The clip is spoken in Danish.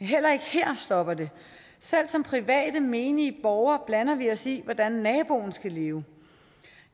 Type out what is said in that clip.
heller ikke her stopper det selv som private menige borgere blander vi os i hvordan naboen skal leve